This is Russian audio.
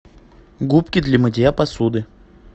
губки для мытья посуды